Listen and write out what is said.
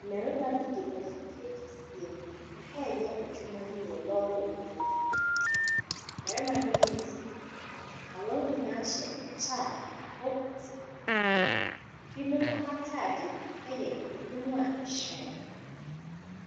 Mmarima bi de afidie kɛseɛ ɛɛyɛ adwuma bi wɔ lɔɔre kwan mu. Mmarima no yɛ nsia na wɔn nyinaa hyɛ ɛkyɛ ɛbɔ ɛti ho ban. Ɛbinom ataade ɛyɛ ɛbunu a ɛhyerɛn.